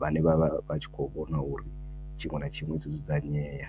vhane vha vha vha tshi kho vhona uri tshiṅwe na tshiṅwe tsho dzudzanyea.